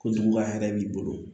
Ko juguya hɛrɛ b'i bolo